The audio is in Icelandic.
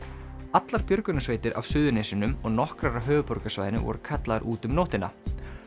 allar björgunarsveitir af Suðurnesjunum og nokkrar af höfuðborgarsvæðinu voru kallaðar út um nóttina